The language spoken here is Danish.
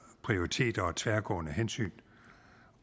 prioriteter og tværgående hensyn